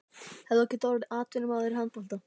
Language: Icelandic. Hefðir þú getað orðið atvinnumaður í handbolta?